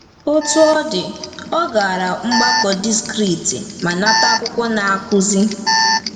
Otú ọ dị, ọ gara mgbakọ distrikti ma nata akwụkwọ Na-akụzi.